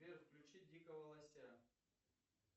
сбер включи дикого лося